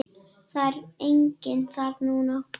Það er enginn þar núna.